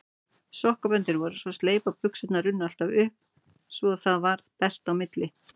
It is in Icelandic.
Sokkaböndin voru svo sleip að buxurnar runnu alltaf upp svo það varð bert á milli.